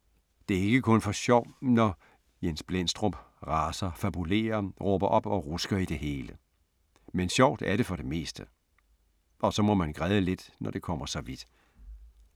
Det er ikke kun for sjov, når Jens Blendstrup raser, fabulerer, råber op og rusker i det hele. Men sjovt er det for det meste. Og så må man græde lidt, når det kommer så vidt.